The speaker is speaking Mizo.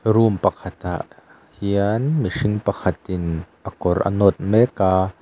room pakhat ah hian mihring pakhat in a kawr a nawt mek a.